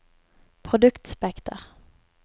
produktspekter